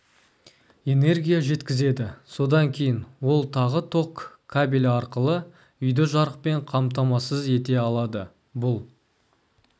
энергия жеткізеді содан кейін ол тағы ток кабелі арқылы үйді жарықпен қамтамасыз ете алады бұл